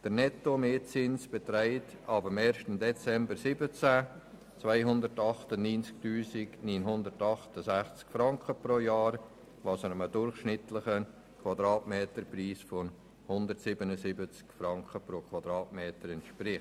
Der Nettomietzins beträgt ab 1. Dezember 2017 298 968 Franken pro Jahr, was einem durchschnittlichen Quadratmeterpreis von 177 Franken entspricht.